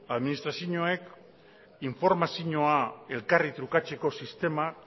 administrazioek informazioa elkarri trukatzeko sistema